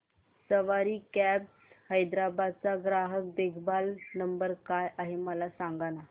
सवारी cabs Hyderabad चा ग्राहक देखभाल नंबर काय आहे मला सांगाना